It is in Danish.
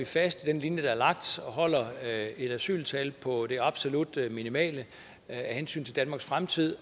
fast i den linje der er lagt og holder et asyltal på det absolut minimale af hensyn til danmarks fremtid